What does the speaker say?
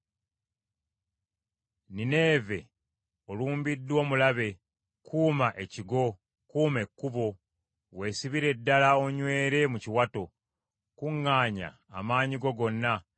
Nineeve, olumbiddwa omulabe; kuuma ekigo, Kuuma ekkubo, weesibire ddala onywere mu kiwato, kuŋŋaanya amaanyi go gonna.